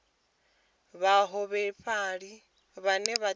vhaholefhali vhane vha tea u